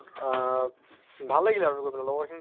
ভাল লাগিলে আৰু গৈ পেলে লগৰ খিনি